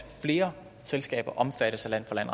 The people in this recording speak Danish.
flere selskaber omfattes af land